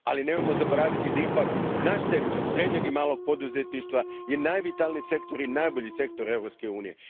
Nemojmo zaboraviti da je naš sektor srednjeg i malog poduzetništva najvitalniji i najbolji sektor Europske unije.